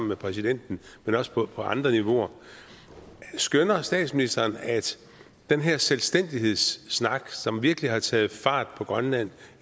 med præsidenten men også på andre niveauer skønner statsministeren at den her selvstændighedssnak som virkelig har taget fart på grønland